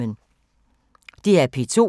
DR P2